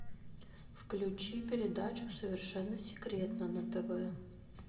включи передачу совершенно секретно на тв